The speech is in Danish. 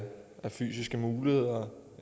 fysiske muligheder